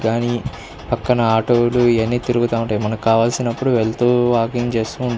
కానీ పక్కన ఆటో లు ఇవన్నీ తిరుగుతుంటాయి. మనకి కావలసినపుడు వెళ్తూ వాకింగ్ చేస్తుంటారు.